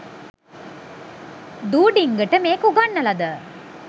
දූ ඩිංගට මේක උගන්නලද